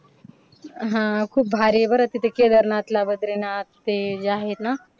हा. खूपभारी आहे बघ बरं तिथं केदारनाथला बद्रीनाथ ते जे आहेत ना